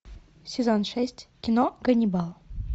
сезон шесть кино ганнибал